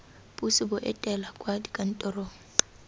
puso bo etela kwa dikantorong